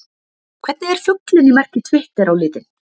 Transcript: Hvernig er fuglinn í merki Twitter á litinn?